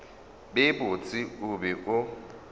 be botse o be o